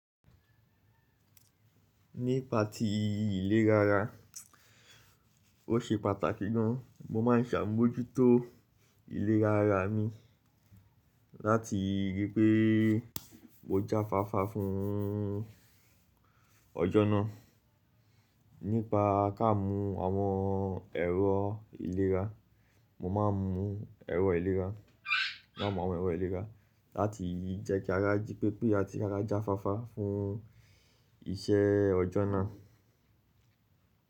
Nípa ti ilé rárá, o ṣe pàtàkì gan, mo máa ǹ sàmójútó ilé rárá mi láti ríi pé mo jáfáfá fún ọjọ́na. Nípa ká mú èrò ìlera, mo máa ń mú èrò ìlera láti rí i pé ara jí pépé, ara jáfáfá fún iṣẹ́ ọjọ́ náà.